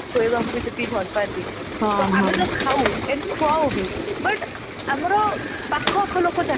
ଖୁଆଇବାକୁ ବି ସେତିକି ଭଲ ପାଆନ୍ତି ଆମେ ଯୋଉ ଖାଉ and ଖୁଆଉ ବି but ଆମର ପାଖ ଆଖ ଲୋକ